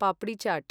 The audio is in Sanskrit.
पप्रि चाट्